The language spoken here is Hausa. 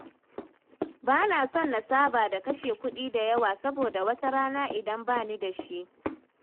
Bana son na saba da kashe kuɗi da yawa, saboda wata rana idan ba ni da shi